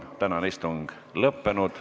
Tänane istung on lõppenud.